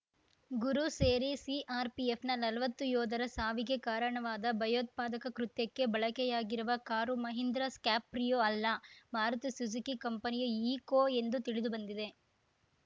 ಗುರು ಸೇರಿ ಸಿಆರ್‌ಪಿಎಫ್‌ನ ನಲ್ವತ್ತು ಯೋಧರ ಸಾವಿಗೆ ಕಾರಣವಾದ ಭಯೋತ್ಪಾದಕ ಕೃತ್ಯಕ್ಕೆ ಬಳಕೆಯಾಗಿರುವ ಕಾರು ಮಹೀಂದ್ರಾ ಸ್ಕ್ಯಾರ್ಪಿಯೋ ಅಲ್ಲ ಮಾರುತಿ ಸುಜುಕಿ ಕಂಪನಿಯ ಈಕೋ ಎಂದು ತಿಳಿದುಬಂದಿದೆ